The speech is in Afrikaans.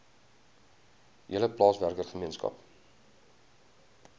hele plaaswerker gemeenskap